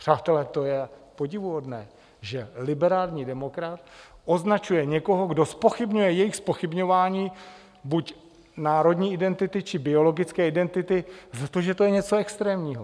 Přátelé, to je podivuhodné, že liberální demokrat označuje někoho, kdo zpochybňuje jejich zpochybňování buď národní identity, či biologické identity, za to, že to je něco extrémního.